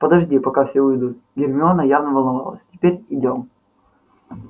подожди пока все уйдут гермиона явно волновалась теперь идём